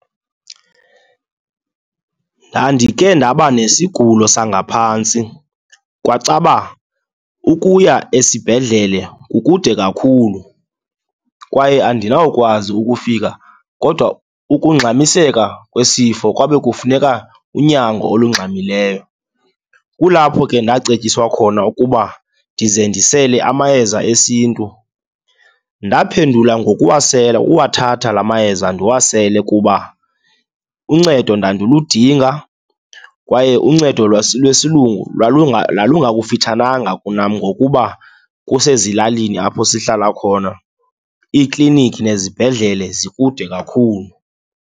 Ndandike ndaba nesigulo sangaphantsi, kwacaba ukuya esibhedlele kukude kakhulu kwaye andinawukwazi ukufika kodwa ukugxamiseka kwesifo kwabe kufuneka unyango olungxamileyo. Kulapho ke ndacetyiswa khona ukuba ndize ndisele amayeza esiNtu. Ndaphendula ngokuwasela, uwathatha la mayeza ndiwasele kuba uncedo ndandiludinga kwaye uncedo lwesilungu lwalunga kufitshananga kunam ngokuba kusezilalini apho sihlala khona, iiklinikhi nezibhedlele zikude kakhulu.